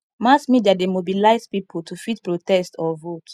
mass media de mobilize pipo to fit protest or vote